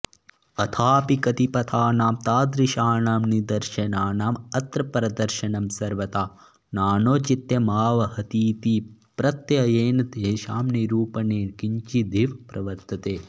अथापि कतिपथानां तादृशानां निदर्शनानां अत्र प्रदर्शनं सर्वथा नानौचित्यमावहतीति प्रत्ययेन तेषां निरूपणे किञ्चिदिव प्रवर्तते